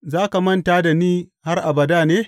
Za ka manta da ni har abada ne?